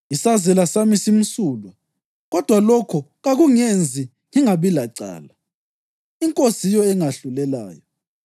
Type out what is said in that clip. Isazela sami simsulwa, kodwa lokho kakungenzi ngingabi lacala. INkosi yiyo engahlulelayo.